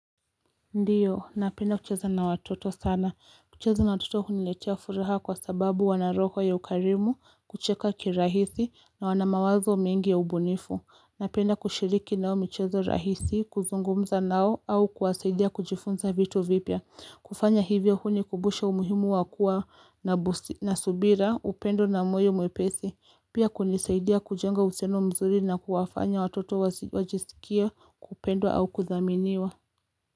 Ndiyo napenda kucheza na watoto sana kucheza na watoto huniletea furaha kwa sababu wana roho ya ukarimu kucheka kirahisi na wana mawazo mingi ya ubunifu Napenda kushiriki nao michezo rahisi kuzungumza nao au kuwasaidia kujifunza vitu vipya kufanya hivyo hunikumbusha umuhimu wa kua na subira upendo na moyo mwepesi pia kunisaidia kujenga uhusiano mzuri na kuwafanya watoto wajisikie kupendwa au kuthaminiwa.